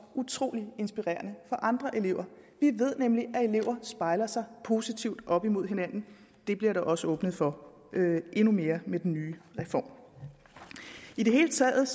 utrolig inspirerende for andre elever vi ved nemlig at elever spejler sig positivt op imod hinanden det bliver der også åbnet for endnu mere med den nye reform i det hele taget